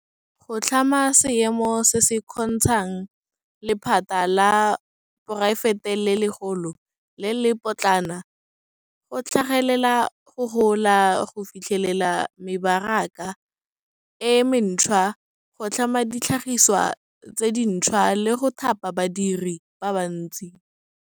Go tlhama seemo se se kgontshang lephata la poraefete le legolo le le lepotlana go tlhagelela, go gola, go fitlhelela mebaraka e mentšhwa, go tlhama ditlhagiswa tse dintšhwa, le go thapa badiri ba bantsi.